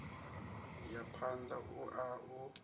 ya phanda u a u